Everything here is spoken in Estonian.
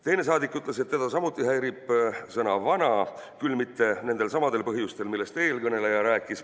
Teine saadik ütles, et teda häirib samuti sõna "vana", küll mitte nendelsamadel põhjustel, millest eelkõneleja rääkis.